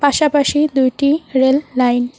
পাশাপাশি দুইটি rail line.